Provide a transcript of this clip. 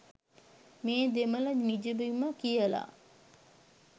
මේ දෙමළ නිජබිම කියලා.